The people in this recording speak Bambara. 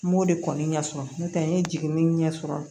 N m'o de kɔni ɲɛ sɔrɔ n tɛ n ye jiginin ɲɛsɔrɔ